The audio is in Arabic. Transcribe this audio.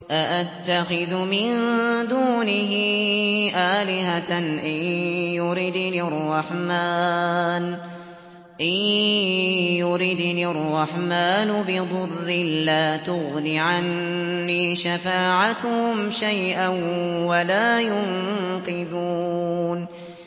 أَأَتَّخِذُ مِن دُونِهِ آلِهَةً إِن يُرِدْنِ الرَّحْمَٰنُ بِضُرٍّ لَّا تُغْنِ عَنِّي شَفَاعَتُهُمْ شَيْئًا وَلَا يُنقِذُونِ